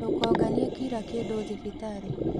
Ndũkonganie kira kindù thibitarĩ.